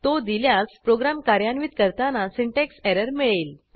तो दिल्यास प्रोग्रॅम कार्यान्वित करताना सिंटॅक्स एरर मिळेल